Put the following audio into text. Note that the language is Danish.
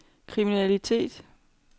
kriminalitet